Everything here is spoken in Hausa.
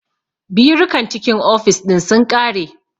Birukan cikin ofis ɗin sun ƙare